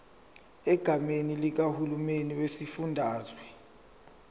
egameni likahulumeni wesifundazwe